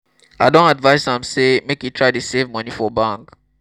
i don advise am sey make e try dey save moni for bank.